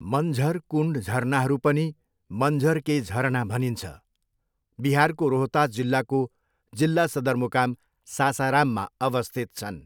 मञ्झर कुण्ड झरनाहरू पनि मञ्झर के झरना भनिन्छ, बिहारको रोहतास जिल्लाको जिल्ला सदरमुकाम सासाराममा अवस्थित छन्।